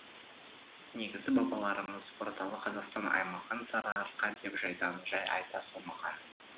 негізі бабаларымыз орталық қазақстан аймағын сарыарқа деп жайдан жай айта салмаған